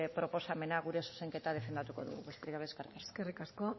proposamena gure zuzenketa defendatuko dugu besterik gabe eskerrik asko eskerrik asko